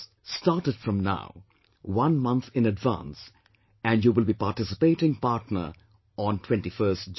Start it from now, one month in advance and you will be a participating partner on 21st June